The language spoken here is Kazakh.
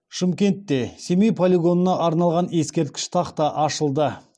шымкентте семей полигонына арналған ескерткіш тақта ашылды